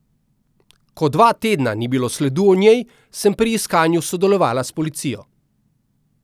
Ko dva tedna ni bilo sledu o njej, sem pri iskanju sodelovala s policijo.